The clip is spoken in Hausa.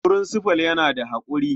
Furinsifal yana da haƙuri.